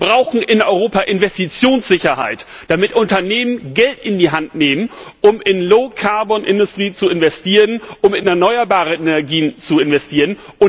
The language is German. Wir brauchen in Europa Investitionssicherheit, damit Unternehmen Geld in die Hand nehmen, um in low carbon industry zu investieren, um in erneuerbare Energien zu investieren.